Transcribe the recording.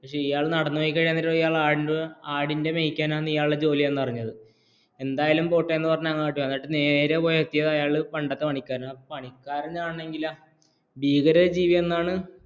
ഇയാൾ അങ്ങനെ നടന്നു പോയി കഴിഞ്ഞിട്ടാണ് ഇയാൾക്ക് മനസിലായത് ആടും മേക്കിലാണ് ഇയാളുടെ ജോലിയെന്ന് അരിഞ്ഞത് എന്തായാലും പോട്ടെ എന്നു പറഞ്ഞു നേരെ അങ്ങോട്ട് പോയി എത്തിയത് പണ്ടത്തെ പണ്ടത്തെ പണിക്ക് എന്റെ അടുത്താണ് എത്തിയത്? പണിക്കാരനാണെങ്കിൽ ഭയങ്കര ജീവിയെന്നാണ്